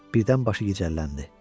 Birdən başı gicəlləndi.